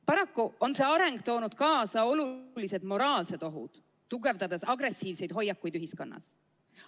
Paraku on see areng toonud kaasa suured moraalsed ohud, tugevdades agressiivseid hoiakuid ühiskonnas.